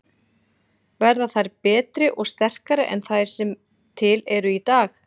Verða þær betri og sterkari en þær sem til eru í dag?